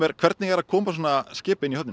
hvernig er að koma svona skipi inn í höfnina